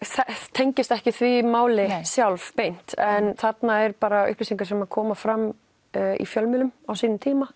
tengist ekki því máli sjálf beint en þarna er bara upplýsingar sem koma fram í fjölmiðlum á sínum tíma